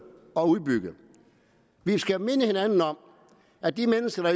og udbygge vi skal minde hinanden om at de mennesker